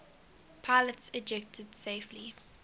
pilots ejected safely